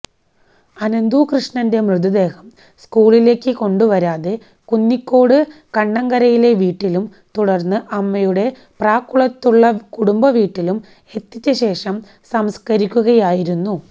അനന്തൂകൃഷ്ണന്റെ മൃതദേഹം സ്കൂളിലേക്ക് കൊണ്ടുവരാതെ കുന്നിക്കോട് കണ്ണങ്കരയിലെ വീട്ടിലും തുടർന്ന് അമ്മയുടെ പ്രാക്കുളത്തുള്ള കുടുംബവീട്ടിലും എത്തിച്ചശേഷം സംസ്കരിക്കുകയായിരുന്നു